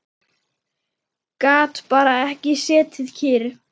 Gat bara ekki setið kyrr.